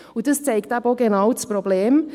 Und dies zeigt eben auch genau das Problem.